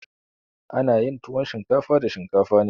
Ana yin tuwon shinkafa da shinkafa ne.